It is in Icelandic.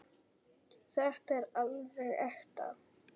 Þetta er alveg ekta.